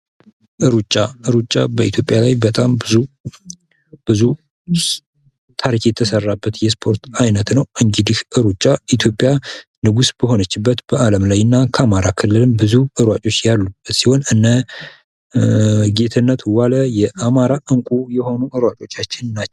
ሩጫ በኢትዮጵያ ላይ በጣም ብዙ ታሪክ የተሰራበት የስፖርት አይነት ነው እንግዲህ ሩጫ በኢትዮጵያ ንጉስ በሆነችበት በአለም ላይ እና ከአማራ ክልልም ብዙ ሯጭ ያለበት ሲሆን እና ጌትነተዋል የአማራ እንቁ የሆነ ሯጮች ናቸው ።